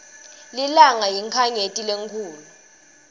lilanga yinkhanyeti lenkhulu